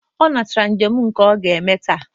Ọ nata njem nke ọ ga-eme taa.